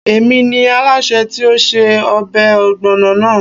Èmi ni Alásè tí ó se ọbẹ̀ ọ̀gbọ̀nà àná